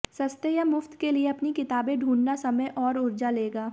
सस्ते या मुफ्त के लिए अपनी किताबें ढूंढना समय और ऊर्जा लेगा